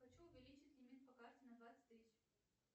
хочу увеличить лимит по карте на двадцать тысяч